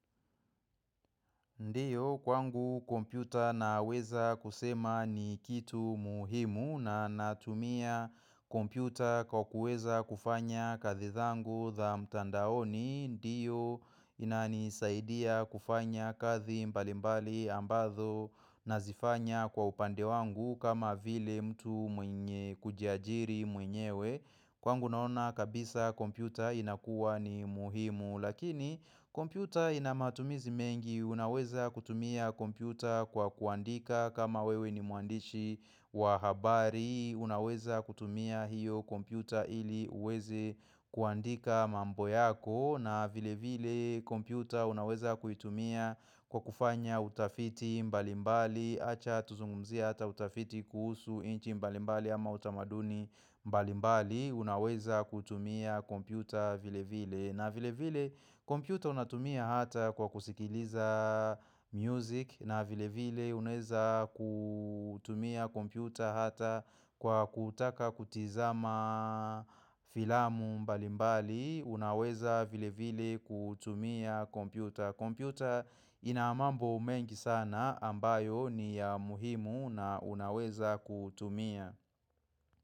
Ndiyo, kwangu kompyuta naweza kusema ni kitu muhimu na natumia kompyuta kwa kuweza kufanya kazi zangu za mtandaoni. Ndiyo, inanisaidia kufanya kazi mbalimbali ambazo nazifanya kwa upande wangu kama vile mtu mwenye kujiajiri mwenyewe. Kwangu naona kabisa kompyuta inakuwa ni muhimu lakini kompyuta inamatumizi mengi unaweza kutumia kompyuta kwa kuandika kama wewe ni mwandishi wa habari unaweza kutumia hiyo kompyuta ili uweze kuandika mambo yako na vile vile kompyuta unaweza kuitumia kwa kufanya utafiti mbalimbali Acha tuzungumzie hata utafiti kuhusu nchi mbalimbali ama utamaduni mbali mbali unaweza kutumia kompyuta vile vile na vile vile kompyuta unatumia hata kwa kusikiliza music na vile vile unaweza kutumia kompyuta hata kwa kutaka kutizama filamu mbali mbali unaweza vile vile kutumia kompyuta. Computer ina mambo mengi sana ambayo ni ya muhimu na unaweza kutumia.